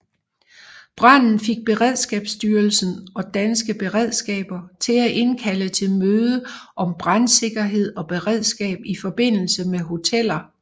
Branden fik Beredskabsstyrelsen og Danske Beredskaber til at indkalde til møde om brandsikkerhed og beredskab i forbindelse med hoteller